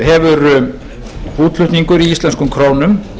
hefur útflutningur í íslenskum krónum